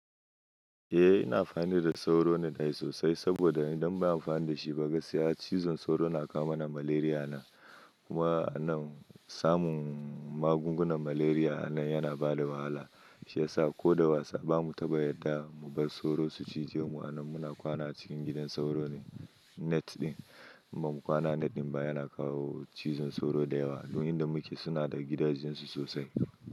Eh ina amfani da sauro net ai sosai saboda idan ba a amfani da shi ba ga sai chizon sauro na kawo mana malaria nan. Kuma anan samun magungunan malaria anan yana bada wahala. Shi yasa ko da wasa ba mu taɓa yadda mu bar sauro su cije mu anan muna kwana cikin gidan sauro net din. Amma kwana net ɗin ba yana kawo chizon sauro da yawa don inda muke suna da gidajensu sosai.